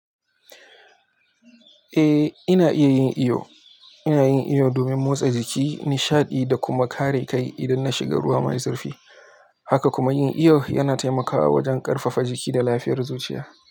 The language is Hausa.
Eh, ina iya yin iyo. Ina yin iyo domin motsa jiki, nishaɗi da kuma kare kai idan na shiga ruwa mai zurfi. Haka kuma, yin iyo yana taimakawa wajen ƙarfafa jiki da lafiyar zuciya.